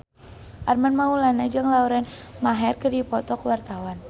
Armand Maulana jeung Lauren Maher keur dipoto ku wartawan